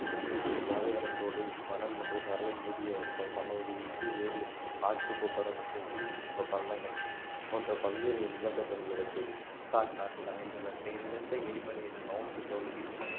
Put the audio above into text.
பாலைவனசோலை மணல் மற்றும் சரளை மூடிய ம~ சமவெளி உப்பு ஏரி ஆற்று கொப்பரை பக்கம் ஊதுப் ப~ பள்ளங்கள் போன்ற பல்வேறு நிலத்தோற்றங்கள் உள்ளடக்கியது சாட் நாட்டில் அமைந்துள்ள செயலிழந்த எரிமலையின் மௌண்ட் கௌசி